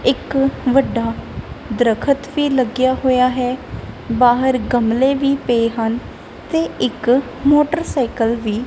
ਇੱਕ ਵੱਡਾ ਦਰਖਤ ਵੀ ਲੱਗਿਆ ਹੋਇਆ ਹੈ ਬਾਹਰ ਗਮਲੇ ਵੀ ਪਏ ਹਨ ਤੇ ਇੱਕ ਮੋਟਰਸਾਈਕਲ ਵੀ--